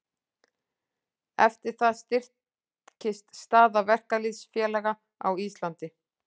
Eftir það styrktist staða verkalýðsfélaga á Íslandi.